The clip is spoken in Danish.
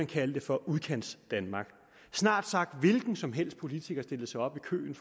kaldte for udkantsdanmark snart sagt hvilken som helst politiker stillede sig op i køen